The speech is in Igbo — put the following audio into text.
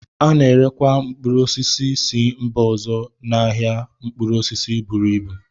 A na-erekwa mkpụrụ osisi si mba ọzọ n'ahịa mkpụrụ osisi buru ịbu